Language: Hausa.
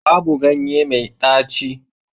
Babu ganye mai ɗaci